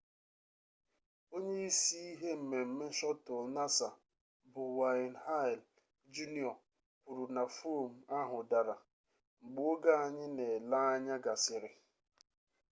onye isi ihe mmemme shọtụl nasa bụ wayne hale jr kwuru na fom ahụ dara mgbe oge anyị na-ele anya gasịrị